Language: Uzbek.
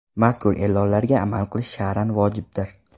Mazkur e’lonlarga amal qilish shar’an vojibdir.